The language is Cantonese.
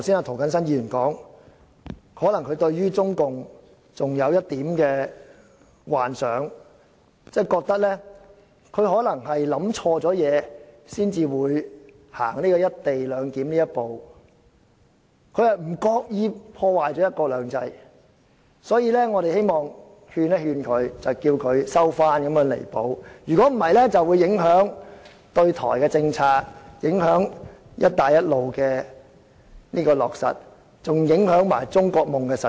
涂謹申議員剛才說，可能他對於中共還有一點幻想，覺得中共可能想錯了一些東西，才會推行"一地兩檢"，不自覺地破壞了"一國兩制"，所以他希望勸諭中共收回、作出彌補，否則就會影響對台政策、"一帶一路"的落實，也影響中國夢的實踐。